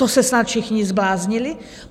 To se snad všichni zbláznili?